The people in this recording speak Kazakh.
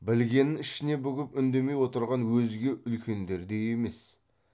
білгенін ішіне бүгіп үндемей отырған өзге үлкендердей емес